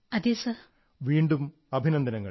so congratulations again